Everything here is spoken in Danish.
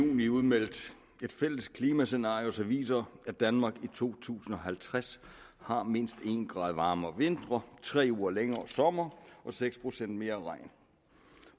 i juni udmeldt et fælles klimascenario som viser at danmark i to tusind og halvtreds har mindst en grad varmere vintre tre uger længere somre og seks procent mere regn